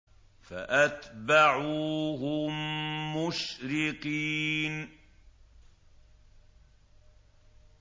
فَأَتْبَعُوهُم مُّشْرِقِينَ